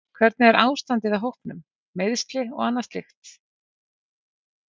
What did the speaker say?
Hvernig er ástandið á hópnum, meiðsli og annað slíkt?